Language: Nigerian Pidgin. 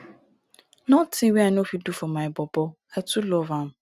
notin wey i no fit do for my bobo i too love am.